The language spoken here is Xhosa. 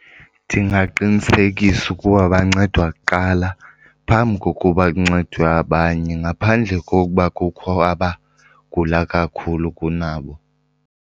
Ndingaqinisekisa ukuba bancedwa kuqala phambi kokuba kuncedwe abanye ngaphandle kokuba kukho abagula kakhulu kunabo.